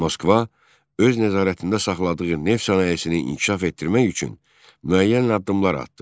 Moskva öz nəzarətində saxladığı neft sənayesini inkişaf etdirmək üçün müəyyən addımlar atdı.